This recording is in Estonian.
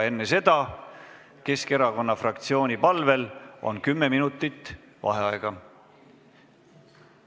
Enne seda on aga Keskerakonna fraktsiooni palvel kümme minutit vaheaega.